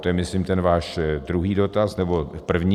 To je myslím ten váš druhý dotaz, nebo první.